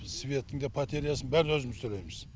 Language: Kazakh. светтің де потерясын бәрін өзіміз төлейміз